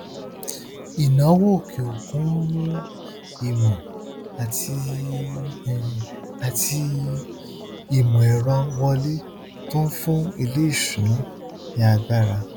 ìnáwó òkè òkun ń mú ìmọ àti àti ìmọ ẹrọ wọlé tó ń fún iléìṣúnná ní agbára